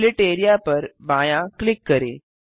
split areaपर बायाँ click करें